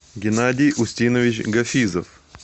геннадий устинович гафизов